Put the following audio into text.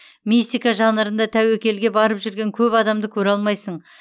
мистика жанрында тәуекелге барып жүрген көп адамды көре алмайсың